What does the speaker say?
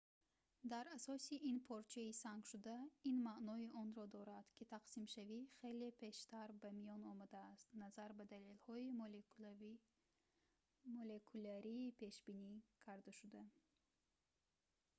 дар асоси ин порчаи сангшуда ин маънои онро дорад ки тақсимшавӣ хеле пештар ба миён омадааст назар ба далелҳои молекулярии пешбинӣ кардашуда